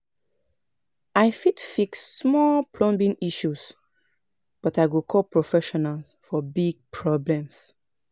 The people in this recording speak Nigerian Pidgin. I fit fix small plumbing issues, but I go call professional for big problems.